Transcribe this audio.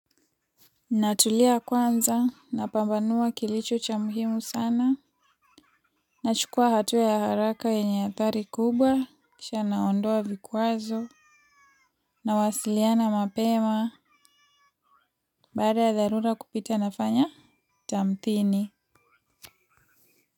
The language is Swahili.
Natulia kwanza, napambanua kilicho cha muhimu sana. Nachukua hatua ya haraka yenye hatari kubwa kisha naondoa vikwazo nawasiliana mapema. Baada ya dharura kupita nafanya tamthini.